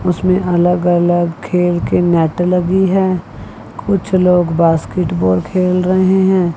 उसमें अलग अलग खेल के नेट लगी हैं कुछ लोग बास्केटबॉल खेल रहे हैं।